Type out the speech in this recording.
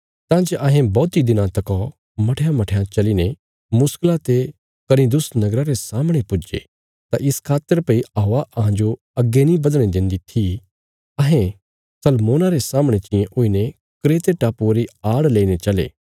तां जे अहें बौहतीं दिनां तका मठयांमठयां चलीने मुश्कला ते कनिदुस नगरा रे सामणे पुज्जे तां इस खातर भई हवा अहांजो अग्गे नीं बधणे देन्दी थी अहें सलमोना रे सामणे चियें हुईने क्रेते टापुये री आड़ लईने चले